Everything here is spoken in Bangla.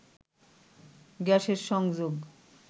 গ্যাসের সংযোগ